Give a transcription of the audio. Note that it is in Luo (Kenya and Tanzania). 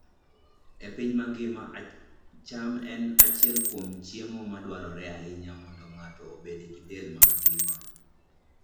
E piny mangima, cham en achiel kuom chiemo ma dwarore ahinya mondo ng'ato obed gi del mangima.